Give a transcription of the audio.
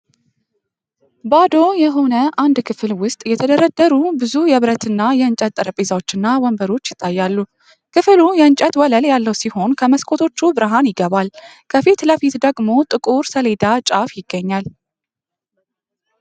ባዶ የሆነ አንድ ክፍል ውስጥ የተደረደሩ ብዙ የብረትና የእንጨት ጠረጴዛዎችና ወንበሮች ይታያሉ። ክፍሉ የእንጨት ወለል ያለው ሲሆን ከመስኮቶቹ ብርሃን ይገባል። ከፊት ለፊት ደግሞ የጥቁር ሰሌዳ ጫፍ ይገኛል።